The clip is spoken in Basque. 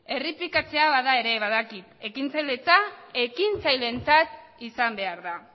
errepikatzea bada ere ekintzailetza ekintzaileentzat izan behar da